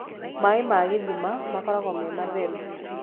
maĩ ma gĩthima makoragũo me matheru